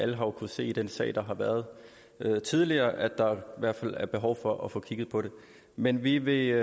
jo kunnet se i den sag der har været tidligere at der i hvert fald er behov for at få kigget på dem men vi vil